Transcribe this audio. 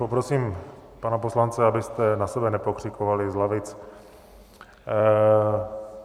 Poprosím pana poslance, abyste na sebe nepokřikovali z lavic.